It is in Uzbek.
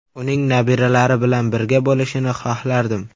Uning nabiralari bilan birga bo‘lishini xohlardim.